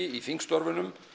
í þingstörfunum